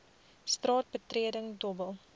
straat betreding dobbel